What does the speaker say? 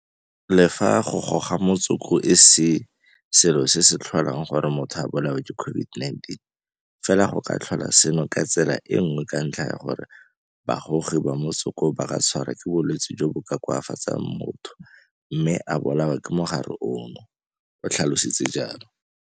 Le fa go goga motsoko e se selo se se tlholang gore motho a bolawe ke COVID-19, fela go ka tlhola seno ka tsela nngwe ka ntlha ya gore bagogi ba motsoko ba ka tshwarwa ke bolwetse jo bo ka koafatsang motho mme a bolawa ke mogare ono, o tlhalositse jalo.